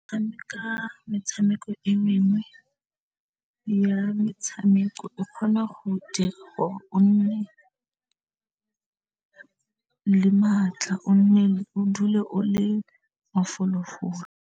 Go tshameka metshameko e mengwe ya metshameko e kgona go dira gore o nne le matla o dule o le mafolofolo.